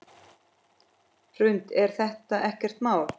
Hrund: Er þetta ekkert mál?